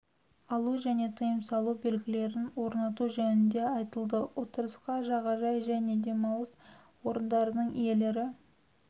алу және тыйым салу белгілерін орнату жөнінде айтылды отырысқа жаға жай және демалыс орындарының иелері